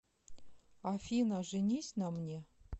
афина женись на мне